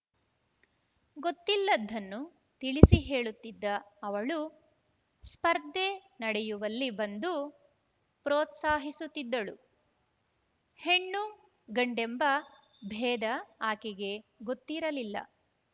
ಗೊತ್ತಿಲ್ಲದ್ದನ್ನು ತಿಳಿಸಿ ಹೇಳುತ್ತಿದ್ದ ಅವಳು ಸ್ಪರ್ಧೆ ನಡೆಯುವಲ್ಲಿ ಬಂದು ಪ್ರೋತ್ಸಾಹಿಸುತ್ತಿದ್ದಳು ಹೆಣ್ಣುಗಂಡೆಂಬ ಭೇದ ಆಕೆಗೆ ಗೊತ್ತಿರಲಿಲ್ಲ